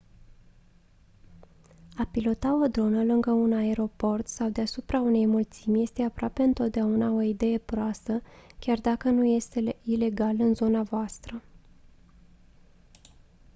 a pilota o dronă lângă un aeroport sau deasupra unei mulțimi este aproape întotdeauna o idee proastă chiar dacă nu este ilegal în zona voastră